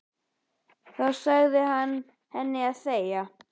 Þá sagði hann henni að þegja.